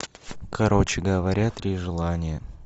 короче говоря три желания